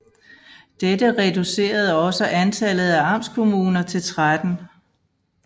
Dette reducerede også antallet af amtskommuner til 13